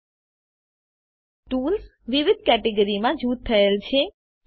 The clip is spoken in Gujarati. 000449 000441 ટુલ્સ વિવિધ કેટેગરીમાં જૂથ થયેલ છે